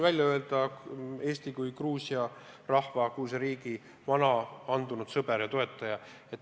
Eesti on Gruusia rahva, Gruusia riigi vana andunud sõber ja toetaja.